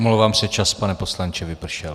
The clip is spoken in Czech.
Omlouvám se, čas, pane poslanče, vypršel.